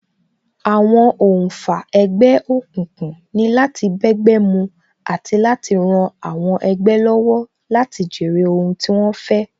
Àwọn oǹfà ẹgbẹ́ òkùnkùn ni láti bẹ́gbẹ́ mu àti láti ran àwọn ẹgbẹ́ lọ́wọ́ láti jèrè ohun tí wón fẹ́